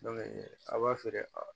a b'a feere a